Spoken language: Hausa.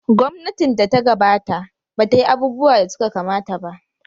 Gwamnatin da ta gabata ba ta yi abubuwa da suka kamata ba.